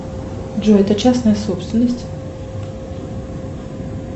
джой это частная собственность